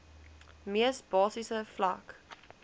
mees basiese vlak